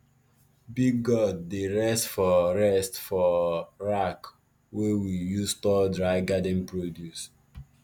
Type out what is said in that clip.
big gourd dey rest for rest for rack wey we use store dry garden produce